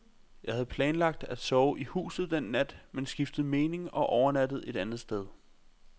Jeg havde planlagt at sove i huset den nat, men skiftede mening og overnattede et andet sted.